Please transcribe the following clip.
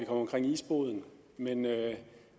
omkring isboden men